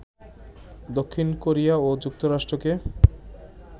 দক্ষিণ কোরিয়া ও যুক্তরাষ্ট্রকে